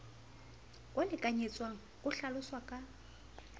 o lekanyetswang o hlaloswa ka